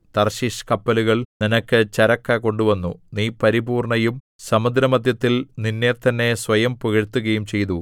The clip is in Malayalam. തർശീശ് കപ്പലുകൾ നിനക്ക് ചരക്കു കൊണ്ടുവന്നു നീ പരിപൂർണ്ണയും സമുദ്രമദ്ധ്യത്തിൽ നിന്നെ തന്നെ സ്വയം പുകഴ്ത്തുകയും ചെയ്തു